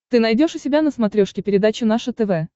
ты найдешь у себя на смотрешке передачу наше тв